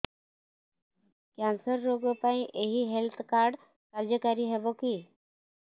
cancer ରୋଗ ପାଇଁ ଏଇ ହେଲ୍ଥ କାର୍ଡ କାର୍ଯ୍ୟକାରି ହେବ କି